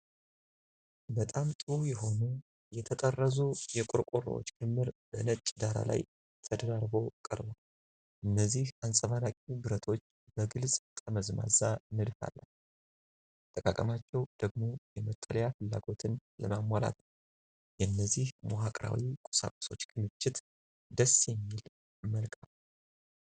በጣም ጥሩ የሆኑ የተጠረዙ የቆርቆሮዎች ክምር በነጭ ዳራ ላይ ተደራርቦ ቀርቧል። እነዚህ አንጸባራቂ ብረቶች በግልጽ ጠመዝማዛ ንድፍ አላቸው፤ አጠቃቀማቸው ደግሞ የመጠለያ ፍላጎትን ለማሟላት ነው። የእነዚህ መዋቅራዊ ቁሳቁሶች ክምችት ደስ የሚል መልክ አለው።